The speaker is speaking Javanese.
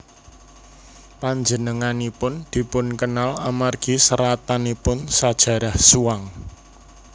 Panjenenganipun dipunkenal amargi seratanipun Sajarah Zhuang